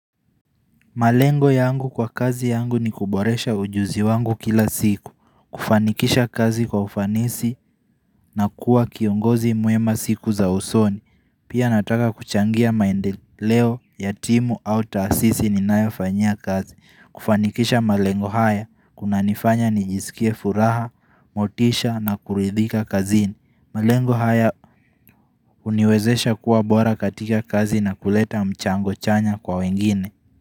Malengo yangu kwa kazi yangu ni kuboresha ujuzi wangu kila siku, kufanikisha kazi kwa ufanisi na kuwa kiongozi mwema siku za usoni, pia nataka kuchangia maendeleo ya timu au taasisi ninayofanyia kazi. Kufanikisha malengo haya, kuna nifanya ni jiskie furaha, motisha na kuridhika kazini. Malengo haya uniwezesha kuwa bora katika kazi na kuleta mchango chanya kwa wengine.